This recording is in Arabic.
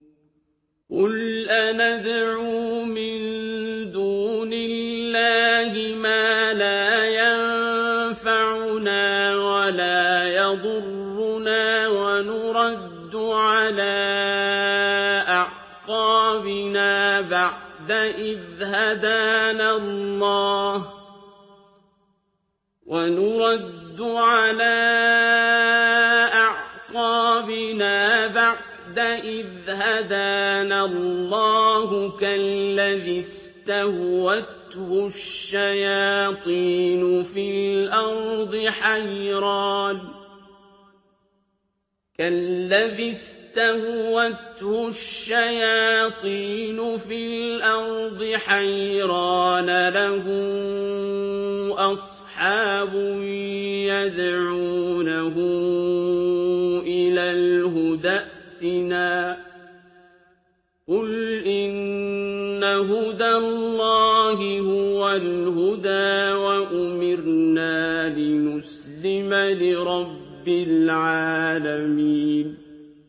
قُلْ أَنَدْعُو مِن دُونِ اللَّهِ مَا لَا يَنفَعُنَا وَلَا يَضُرُّنَا وَنُرَدُّ عَلَىٰ أَعْقَابِنَا بَعْدَ إِذْ هَدَانَا اللَّهُ كَالَّذِي اسْتَهْوَتْهُ الشَّيَاطِينُ فِي الْأَرْضِ حَيْرَانَ لَهُ أَصْحَابٌ يَدْعُونَهُ إِلَى الْهُدَى ائْتِنَا ۗ قُلْ إِنَّ هُدَى اللَّهِ هُوَ الْهُدَىٰ ۖ وَأُمِرْنَا لِنُسْلِمَ لِرَبِّ الْعَالَمِينَ